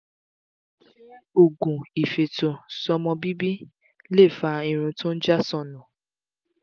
ṣé oògùn ifeto-sọmọ bibi lè fa irun tó ń ja sọńu?